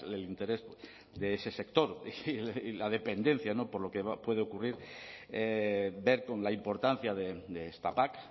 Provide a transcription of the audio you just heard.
el interés de ese sector y la dependencia por lo que puede ocurrir ver con la importancia de esta pac